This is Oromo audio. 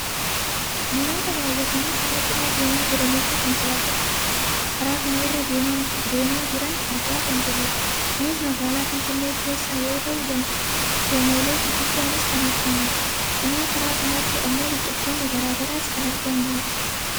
namoota baayyatanii karaa cinaa deemaa jiraniifi konkolaattota karaa kana irra deemaa jiran argaa kan jirrudha. kunis magaalaa finfinnee keessa yoo ta'u gamoolee gurguddaanis kan argamudha. cinaa karaa kanaatti ammoo biqiltoonni gara garaas kan argamanidha.